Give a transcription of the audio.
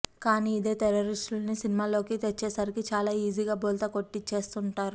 కానీ ఇదే టెర్రరిస్టుల్ని సినిమాల్లోకి తెచ్చేసరికి చాలా ఈజీగా బోల్తా కొట్టించేస్తుంటారు